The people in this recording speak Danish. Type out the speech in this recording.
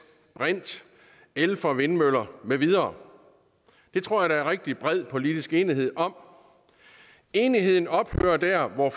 brint el fra vindmøller med videre det tror jeg der er rigtig bred politisk enighed om enigheden ophører der hvor